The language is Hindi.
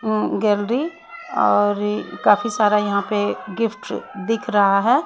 अं गैलरी और काफी सारा यहां पे गिफ्ट दिख रहा है।